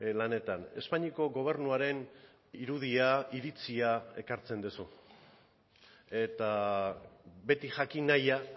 lanetan espainiako gobernuaren irudia iritzia ekartzen duzu eta beti jakin nahia